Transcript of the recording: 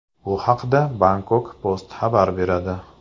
Bu haqda Bangkok Post xabar beradi .